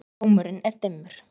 Rómurinn er dimmur.